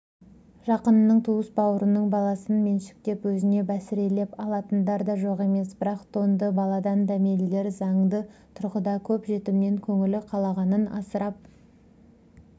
жақынының туыс-бауырының баласын меншіктеп өзіне бәсірелеп алатындар да жоқ емес бірақ тонды баладан дәмелілер заңды тұрғыда көп жетімнен көңілі қалағанын асырап